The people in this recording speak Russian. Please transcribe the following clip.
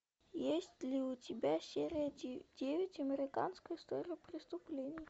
есть ли у тебя серия девять американская история преступлений